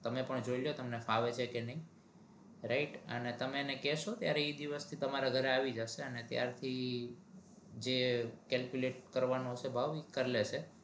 તમે પણ જોઈ લ્યો તમને ફાવે છે કે નઈ right અને તમે એને કેસો ત્યારે એ તમારા ઘરે આવી જશે ત્યાર થી જે calculator કરવાનો ભાવ કર લેશે